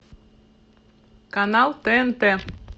канал тнт